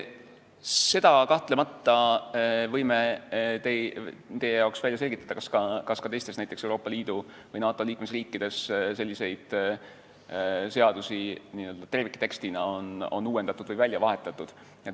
Seda me kahtlemata võime teie jaoks välja selgitada, kas ka teistes Euroopa Liidu või NATO liikmesriikides selliseid seadusi terviktekstina on välja vahetatud.